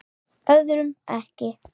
Öðrum ekki.